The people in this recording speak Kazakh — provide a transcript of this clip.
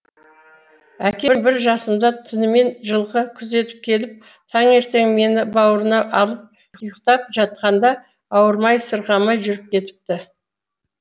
әкем бір жасымда түнімен жылқы күзетіп келіп таңертең мені бауырына алып ұйықтап жатқанында ауырмай сырқамай жүріп кетіпті